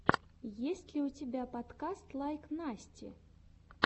есть ли у тебя подкаст лайк насти